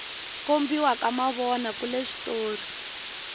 kombiwa ka mavona kule switori